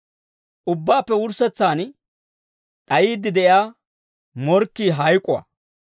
Ubbaappe wurssetsaan d'ayiidde de'iyaa morkkii hayk'uwaa.